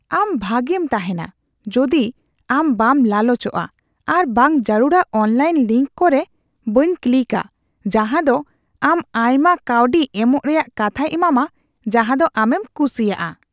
ᱟᱢ ᱵᱷᱟᱜᱮᱢ ᱛᱟᱦᱮᱱᱟ ᱡᱩᱫᱤ ᱟᱢ ᱵᱟᱢ ᱞᱟᱞᱚᱪᱚᱜᱼᱟ ᱟᱨ ᱵᱟᱝ ᱡᱟᱹᱨᱩᱲᱟᱜ ᱚᱱᱞᱟᱭᱤᱱ ᱞᱤᱝᱠ ᱠᱩᱨᱮ ᱵᱟᱱ ᱠᱞᱤᱠᱟ ᱡᱟᱦᱟ ᱫᱚ ᱟᱢ ᱟᱭᱢᱟ ᱠᱟᱹᱣᱰᱤ ᱮᱢᱚᱜ ᱨᱮᱭᱟᱜ ᱠᱟᱛᱷᱟᱭ ᱮᱢᱟᱢᱟ ᱡᱟᱦᱟᱸᱫᱚ ᱟᱢᱮᱢ ᱠᱩᱥᱤᱭᱟᱜᱼᱟ᱾ (ᱜᱟᱛᱮ ᱒)